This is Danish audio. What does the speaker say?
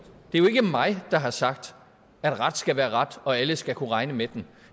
ikke mig der har sagt at ret skal være ret og at alle skal kunne regne med